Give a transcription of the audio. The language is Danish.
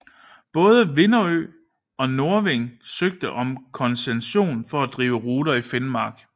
Både Widerøe og Norving søgte om koncession for at drive ruter i Finnmark